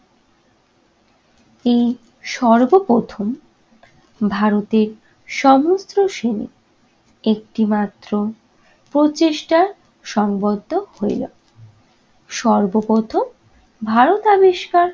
ই সর্বপ্রথম ভারতের সমস্ত একটিমাত্র প্রচেষ্টা সংবদ্ধ হইল। সর্বপ্রথম ভারত আবিষ্কার